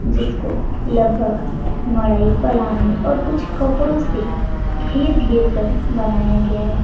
जिसको लगभग मढ़ई पलानी और कुछ कपड़ों से घेर घेर कर बनाया गया है।